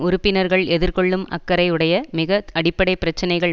உறுப்பினர்கள் எதிர்கொள்ளும் அக்கறை உடைய மிக அடிப்படை ப் பிரச்சினைகள்